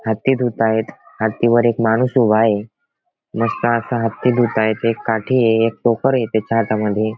हत्ती धुतायेत हत्ती वर एक माणूस उभा आहे मस्त असा हत्ती धुताये एक काठी ये एक टोकर ये त्याच्या हातामध्ये.